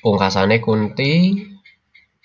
Pungkasane Kunthi